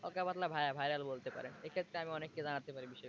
হালকা-পাতলা via viral বলতে পারেন এক্ষেত্রে আমি অনেককে জানাতে পারি বিষয়গুলো।